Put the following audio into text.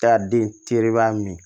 Taa den tereba min ye